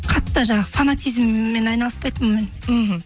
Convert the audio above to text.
қатты жаңағы фанатизммен айналыспайтын мен мхм